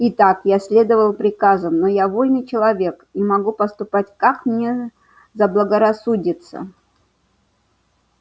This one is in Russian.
итак я следовал приказам но я вольный человек и могу поступать как мне заблагорассудится